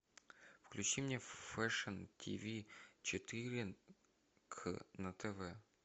включи мне фэшн тв четыре к на тв